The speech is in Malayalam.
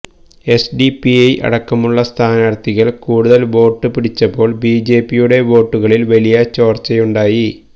എസ്ഡിപിഐ അടക്കമുള്ള സ്ഥാനാര്ത്ഥികള് കൂടുതല് വോട്ട് പിടിച്ചപ്പോള് ബിജെപിയുടെ വോട്ടുകളില് വലിയ ചോര്ച്ചയുണ്ടായി